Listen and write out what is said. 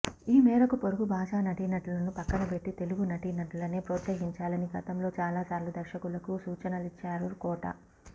ఈ మేరకు పొరుగు భాషా నటీనటులను పక్కనబెట్టి తెలుగు నటీనటులనే ప్రోత్సహించాలని గతంలో చాలా సార్లు దర్శకులకు సూచనలిచ్చారు కోట